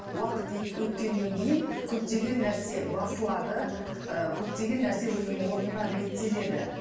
уақыт өткеннен кейін көптеген нәрсе басылады ы көптеген нәрсе өзінің орнына реттеледі